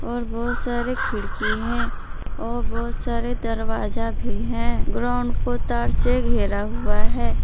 और बहोत सारे खिड़की हैं और बहोत सारे दरवाजा भी हैं ग्राउंड को तारसे घेरा हुआ है।